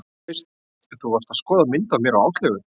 Þú veist. þú varst að skoða mynd af mér og Áslaugu.